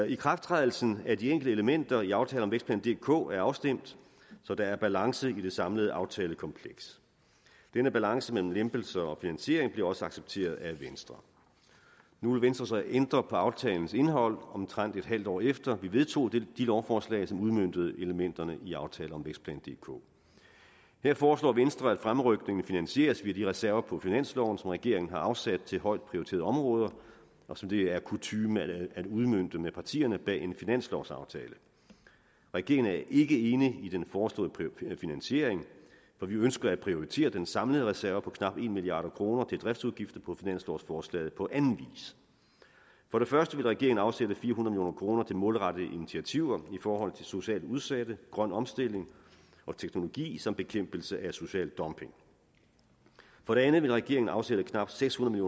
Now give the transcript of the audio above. ikrafttrædelsen af de enkelte elementer i aftale om vækstplan dk er afstemt så der er balance i det samlede aftalekompleks denne balance mellem lempelser og finansiering bliver også accepteret af venstre nu vil venstre så ændre på aftalens indhold omtrent et halvt år efter vi vedtog de lovforslag som udmøntede elementerne i aftale om vækstplan dk her foreslår venstre at fremrykningen finansieres ved de reserver på finansloven som regeringen har afsat til højt prioriterede områder og som det er kutyme at udmønte med partierne bag en finanslovsaftale regeringen er ikke enig i den foreslåede finansiering for vi ønsker at prioritere den samlede reserve på knap en milliard kroner til driftsudgifter på finanslovsforslaget på anden vis for det første vil regeringen afsætte fire hundrede million kroner til målrettede initiativer i forhold til socialt udsatte grøn omstilling og teknologi som bekæmpelse af social dumping for det andet vil regeringen afsætte knap seks hundrede